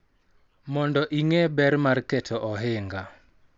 Mondo ing�e ber mar keto ohinga,